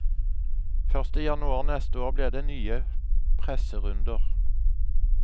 Først i januar neste år blir det nye presserunder.